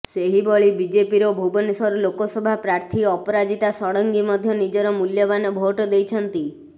ସେହିଭଳି ବିଜେପିର ଭୁବନେଶ୍ୱର ଲୋକସଭା ପ୍ରାର୍ଥୀ ଅପରାଜିତା ଷଡଙ୍ଗୀ ମଧ୍ୟ ନିଜର ମୂଲ୍ୟବାନ ଭୋଟ ଦେଇଛନ୍ତି